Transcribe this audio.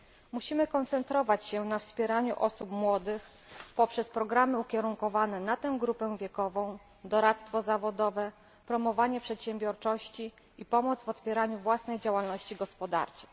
Musimy koncentrować się na wspieraniu osób młodych poprzez programy ukierunkowane na tę grupę wiekową, doradztwo zawodowe, promowanie przedsiębiorczości i pomoc w otwieraniu własnej działalności gospodarczej.